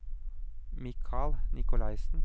Mikal Nikolaisen